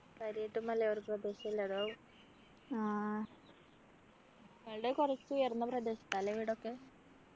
കര്യായിട്ട് മലയോര പ്രദേശല്ലേ അതാവും ഇയാളുടെ കുറച്ചു ഉയർന്ന പ്രദേശതാ ല്ലേ വീടൊക്കെ